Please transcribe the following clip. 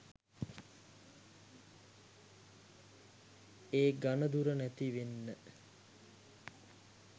ඒ ඝණදුර නැතිවෙන්න